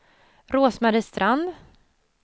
Rose-Marie Strand